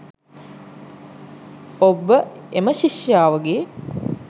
ඔබ එම ශිෂ්‍යාවගේ